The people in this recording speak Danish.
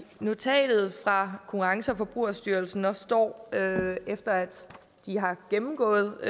notatet fra konkurrence og forbrugerstyrelsen står efter at de har gennemgået